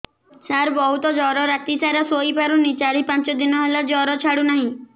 ସାର ବହୁତ ଜର ରାତି ସାରା ଶୋଇପାରୁନି ଚାରି ପାଞ୍ଚ ଦିନ ହେଲା ଜର ଛାଡ଼ୁ ନାହିଁ